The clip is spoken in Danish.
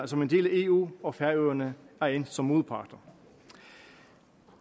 som en del af eu og færøerne er endt som modparter